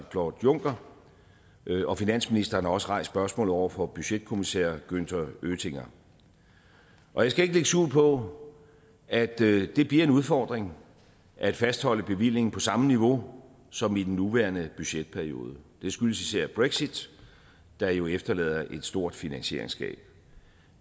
claude juncker og finansministeren har også rejst spørgsmålet over for budgetkommissær günther oettinger og jeg skal ikke lægge skjul på at det bliver en udfordring at fastholde bevillingen på samme niveau som i den nuværende budgetperiode det skyldes især brexit der jo efterlader et stort finansieringsgab